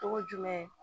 Togo jumɛn